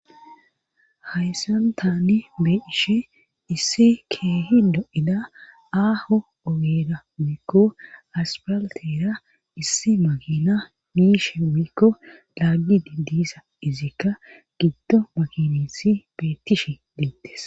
hayssan taani be ishe issi keehi do7ida aaho ogeeda wiikko aspaltera issi makina miishe wiikko laaggi didisa izikka giddo makinissi beettishe deettes